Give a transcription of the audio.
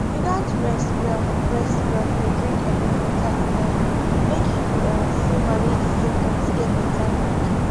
you gatz rest well rest well dey drink enuf water um make you um fit manage di symptoms get beta quick